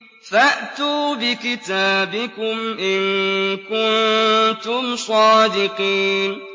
فَأْتُوا بِكِتَابِكُمْ إِن كُنتُمْ صَادِقِينَ